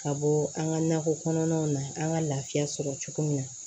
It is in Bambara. Ka bɔ an ka nakɔ kɔnɔnaw na an ka laafiya sɔrɔ cogo min na